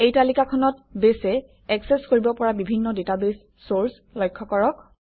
এই তালিকাখনত বেছে একচেচ কৰিব পৰা বিভিন্ন ডাটাবেছ চৰ্চ লক্ষ্য কৰক